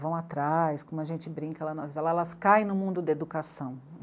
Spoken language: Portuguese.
vão atrás, como a gente brinca lá no Avisalá, elas caem no mundo da educação.